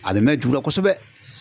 A bɛ mɛn juru la kosɛbɛ.